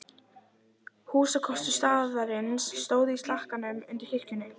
Húsakostur staðarins stóð í slakkanum undir kirkjunni.